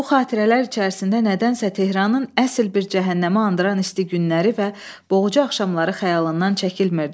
Bu xatirələr içərisində nədənsə Tehranın əsil bir cəhənnəmi andıran isti günləri və boğucu axşamları xəyalından çəkilmirdi.